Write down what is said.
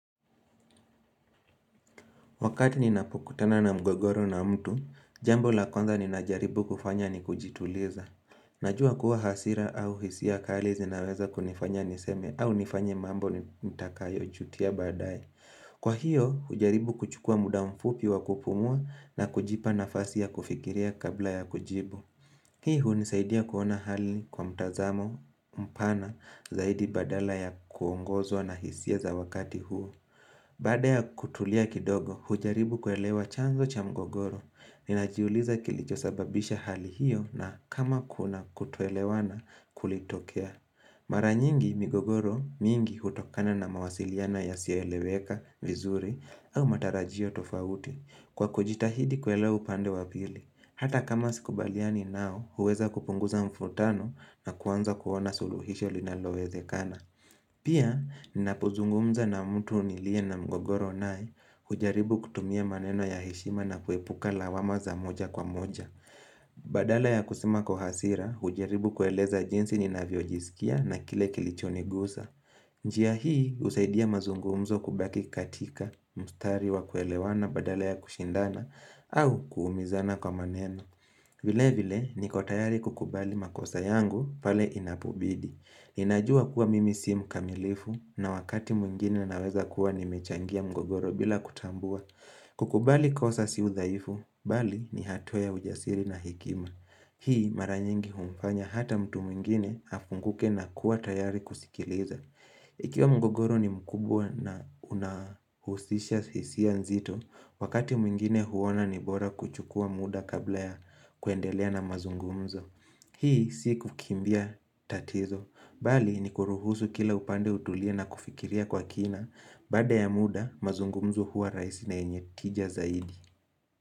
Wakati ninapokutana na mgogoro na mtu, jambo la kwanza ninajaribu kufanya ni kujituliza. Najua kuwa hasira au hisia kali zinaweza kunifanya niseme au nifanye mambo nitakayo jutia baadaye. Kwa hiyo, hujaribu kuchukua muda mfupi wa kupumua na kujipa nafasi ya kufikiria kabla ya kujibu. Hii hunisaidia kuona hali kwa mtazamo mpana zaidi badala ya kuongozwa na hisia za wakati huo. Baada ya kutulia kidogo, hujaribu kuelewa chanzo cha mgogoro. Ninajiuliza kilichosababisha hali hiyo na kama kuna kutoelewana kulitokea. Mara nyingi migogoro mingi hutokana na mawasiliano yasiyoeleweka vizuri au matarajio tofauti. Kwa kujitahidi kuelewa upande wa pili. Hata kama sikubaliani nao, huweza kupunguza mvurutano na kuanza kuona suluhisho linalowezekana. Pia, ninapozungumza na mtu niliye na mgogoro naye, hujaribu kutumia maneno ya heshima na kuepuka lawama za moja kwa moja. Badala ya kusema kwa hasira, hujaribu kueleza jinsi ninavyojisikia na kile kilichonigusa. Njia hii, husaidia mazungumzo kubaki katika, mstari wa kuelewana badala ya kushindana, au kuumizana kwa maneno. Vilevile, niko tayari kukubali makosa yangu pale inapobidi. Ninajua kuwa mimi si mkamilifu na wakati mwingine naweza kuwa nimechangia mgogoro bila kutambua. Kukubali kosa si udhaifu, bali ni hatua ya ujasiri na hekima Hii mara nyingi humfanya hata mtu mwingine afunguke na kuwa tayari kusikiliza Ikiwa mgogoro ni mkubwa na unahusisha hisia nzito, Wakati mwingine huona ni bora kuchukua muda kabla ya kuendelea na mazungumzo Hii si kukimbia tatizo, Bali ni kuruhusu kila upande utulie na kufikiria kwa kina Baada ya muda, mazungumzo huwa rahisi na yenye tija zaidi.